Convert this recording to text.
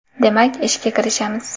Demak, ishga kirishamiz.